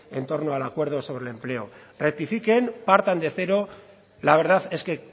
en torno al acuerdo sobre el empleo rectifiquen partan de cero la verdad es que